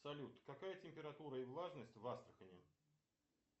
салют какая температура и влажность в астрахани